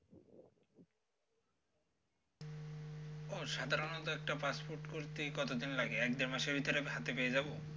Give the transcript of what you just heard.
ও সাধারণত একটা passport করতে কতদিন লাগে? এক দেড় মাস ভিতরে হাতে পেয়ে যাব?